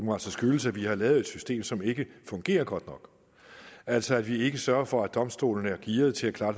må altså skyldes at vi har lavet et system som ikke fungerer godt nok altså at vi ikke sørger for at domstolene er gearet til at klare